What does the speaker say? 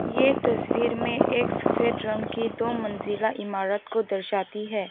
ये तस्वीर में एक सफेद रंग की दो मंजिला इमारत को दर्शाती है।